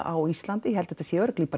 á Íslandi ég held þetta sé